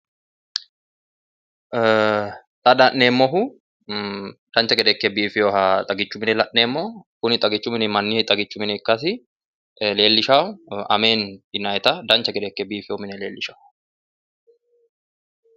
ee xa la'neemmohu dancha gede ikke biifinoha xagichu mine la'neemmo kuni xagichu mini mannu xagichi mine ikkasi leellishanno ameeni yinayita dancha gede ikke biifinoha leellishanno.